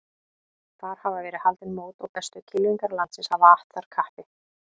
Þar hafa verið haldin mót og bestu kylfingar landsins hafa att þar kappi.